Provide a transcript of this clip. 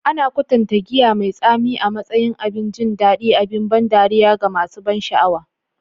Ana kwatanta giya mai tsami a matsayin abin jin daɗi, abin ban dariya ga masu ban sha'awa.